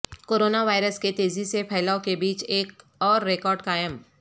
corona virus کے تیزی سے پھیلائو کے بیچ ایک اور ریکارڈ قائم